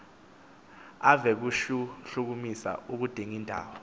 ave kushlkumisa udingindawo